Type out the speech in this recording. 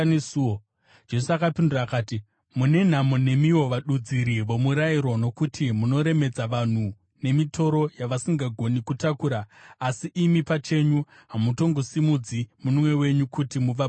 Jesu akapindura akati, “Mune nhamo nemiwo vadudziri vomurayiro, nokuti munoremedza vanhu nemitoro yavasingagoni kutakura, asi imi pachenyu hamutongosimudzi munwe wenyu kuti muvabatsire.